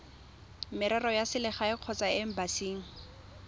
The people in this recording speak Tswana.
merero ya selegae kgotsa embasing